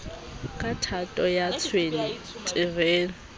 ka thato ya tshwene terene